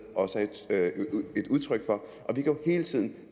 også er et udtryk for og vi kan jo hele tiden